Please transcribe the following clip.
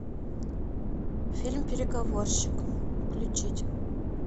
фильм переговорщик включить